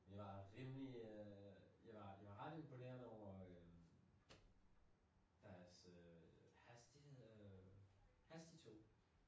Vi var rimelig øh jeg var ret imponeret over øh deres øh hastighed øh hastigtog